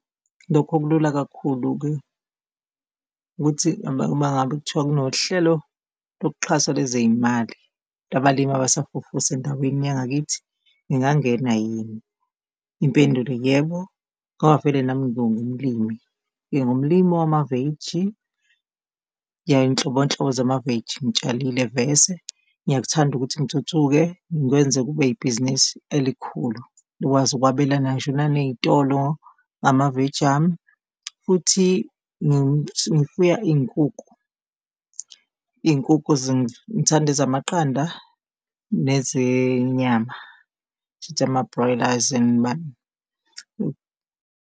Lokho kulula kakhulu-ke ukuthi mangabe kuthiwa kunohlelo lokuxhasa lezeyimali labalimi abasafufusa endaweni yangakithi, ngingangena yini? Impendulo yebo, ngoba vele nami ngingumlimi, ngingumlimi wamaveji, yeyinhlobonhlobo zamaveji ngitshalile vese ngiyakuthanda ukuthi ngithuthuke, ngikwenze kube ibhizinisi elikhulu likwazi ukwabelana ngisho naneyitolo ngamaveji ami, futhi ngifuya iyinkukhu. Iyinkukhu ngithanda ezamaqanda nezenyama, shuthi ama-boilers and .